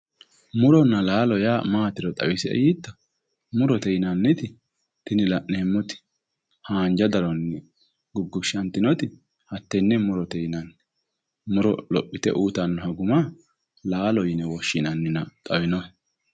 Muronna laalo yaa maatiro xawisie yiitto? Murote yinanniti tini la'neemmoti haanja daronni guggushshaninoti hattenne murote yinanni. Muro lophite uuyiitannoha guma laalo yine woshshinannina xawinohe.